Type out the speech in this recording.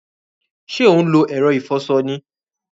Sé o n lo èro ìfoso ni?